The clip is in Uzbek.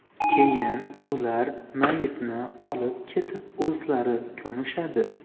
Keyin ular mayitni olib ketib o‘zlari ko‘mishadi.